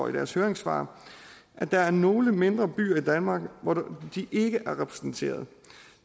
i deres høringssvar at der er nogle mindre byer i danmark hvor de ikke er repræsenteret